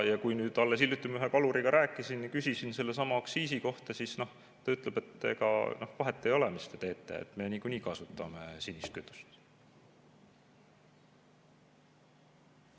Kui alles hiljuti ühe kaluriga rääkisin, küsisin sellesama aktsiisi kohta, siis ta ütles, et ega vahet ei ole, mis te teete, me niikuinii kasutame sinist kütust.